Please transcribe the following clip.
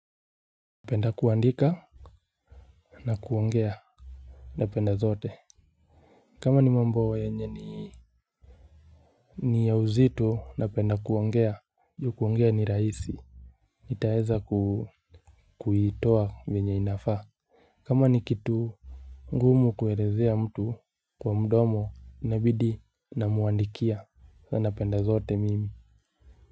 Napenda kuandika na kuongea napenda zote kama ni mambo yenye ni ni ya uzito napenda kuongea juu kuongea ni rahisi itaweza kuitoa vyenye inafaa kama ni kitu ngumu kuelezea mtu kwa mdomo inabidi namuandikia na napenda zote mimi.